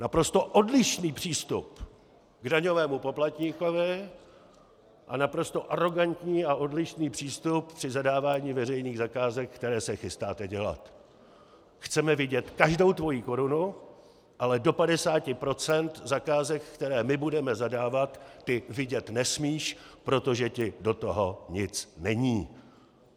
Naprosto odlišný přístup k daňovému poplatníkovi a naprosto arogantní a odlišný přístup při zadávání veřejných zakázek, které se chystáte dělat: Chceme vidět každou tvoji korunu, ale do 50 % zakázek, které my budeme zadávat, ty vidět nesmíš, protože ti do toho nic není.